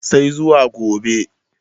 sai zuwa gobe